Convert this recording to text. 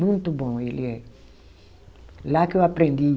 Muito bom ele é. Lá que eu aprendi.